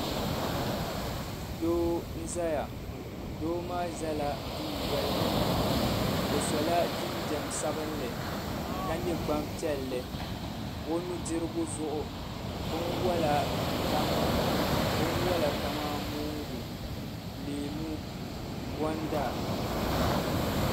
Gbanpiɛlla paɣaba bi ʒɛla teebuli gbunni teebuli maa zuɣu gbana pam n pa di zuɣu bi sabiri mi yino yɛla liiga sabinli n pa o liiga zuɣu ka ga agogo ka yino zaŋ bin sabinli n piri o nuu ka yɛ nyingokɔrigu.